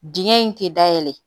Dingɛ in tɛ dayɛlɛ